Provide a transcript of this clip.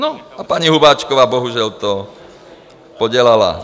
No, a paní Hubáčková bohužel to podělala.